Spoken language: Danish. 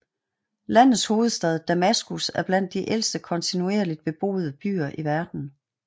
Landets hovedstad Damaskus er blandt de ældste kontinuerligt beboede byer i verden